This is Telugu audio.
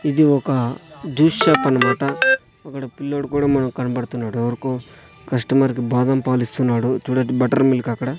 ఇది ఒక జ్యూస్ షాప్ అనుకుంటా ఒకడు పిల్లోడు కూడా మనక్ కనబడుతున్నాడు ఎవరికో కస్టమర్ కి బాదంపాలిస్తున్నాడు చూడండి బట్టర్ మిల్క్ అక్కడ --